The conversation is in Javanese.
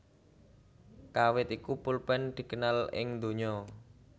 Kawit iku polpen dikenal ing donya